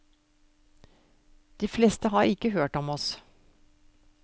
De fleste har ikke hørt om oss.